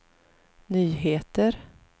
nyheter